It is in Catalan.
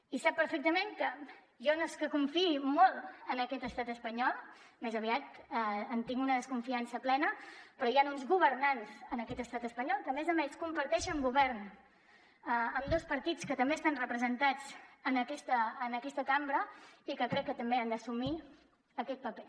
i sap perfectament que jo no és que confiï molt en aquest estat espanyol més aviat en tinc una desconfiança plena però hi ha uns governants en aquest estat espanyol que a més a més comparteixen govern i ambdós partits també estan representats en aquesta cambra i que crec que també han d’assumir aquest paper